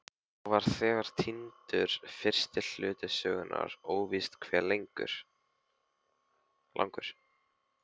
Þá var þegar týndur fyrsti hluti sögunnar, óvíst hve langur.